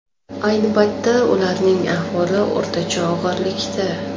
Ayni paytda ularning ahvoli o‘rtacha og‘irlikda.